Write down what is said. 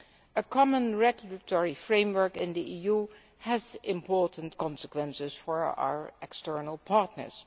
A common regulatory framework in the EU has important consequences for our external partners.